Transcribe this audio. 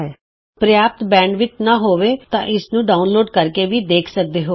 httpspoken tutorialorgWhat is a Spoken Tutorial ਜੇ ਤੁਹਾਡੇ ਪ੍ਰਯਾਪ੍ਤ ਬੈਂਡਵਿੱਥ ਨਹੀਂ ਹੈ ਤਾਂ ਤੁਸੀਂ ਇਸ ਨੂੰ ਡਾਊਨਲੋਡ ਕਰਕੇ ਵੀ ਦੇਖ ਸਕਦੇ ਹੋ